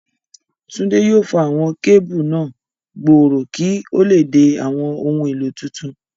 Túndé yóò fa àwọn kébù náà gbòòrò kí ó lè dé àwọn ohun èlò tuntun.